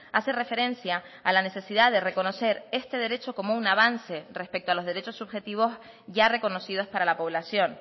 hace referencia a la necesidad de reconocer este derecho como un avance respecto a los derechos subjetivos ya reconocidos para la población